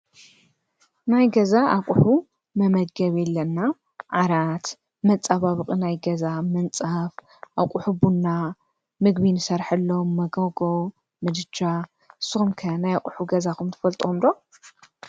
ናይ ገዛ ኣቑሑ መመገቢ ኣለና። ዓራት፣ መፀባበቂ፣ ናይ ገዛ ምንፃፍ፣ ኣቁሑ ቡና፣ ምግቢ ንሰሐሎም መጎጎ፣ ምድጃ። ንስኩም ከ ናይ ኣቑሑ ገዛኩም ትፈልጥዎም ዶ?